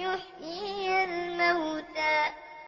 يُحْيِيَ الْمَوْتَىٰ